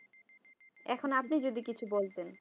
এখন আপনি যদি কিছু বলতেন